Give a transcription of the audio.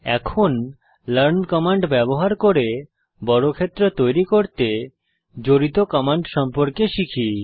এখন learn command ব্যবহার করে বর্গক্ষেত্র তৈরী করতে জড়িত কমান্ড সম্পর্কে শিখি